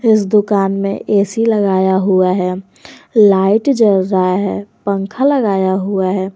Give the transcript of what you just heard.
इस दुकान में ए_सी लगाया हुआ है लाइट जल रहा है पंखा लगाया हुआ है।